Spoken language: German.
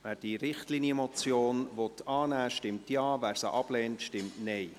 Wer die Richtlinienmotion annehmen will, stimmt Ja, wer diese ablehnt, stimmt Nein.